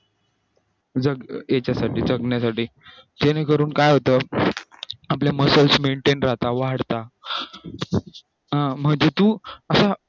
याच्यासाठी जगण्यासाठी ज्याने करून काय होत आपल्या muscle maintain राहतत वाढता